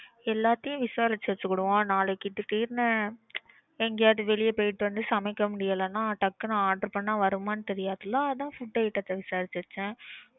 எல்லாத்தையும் விசாரிச்சு வெட்சுகுடுவோம். நாளைக்கு திடீர்னு எங்கயாவது வெளிய போய்ட்டு வந்து சமைக்க முடியலேன்னா டக்குன்னு order பண்ணா வருமான்னு தெரியாதுல அதான் food item த்த விசாரிச்சு வெச்சேன்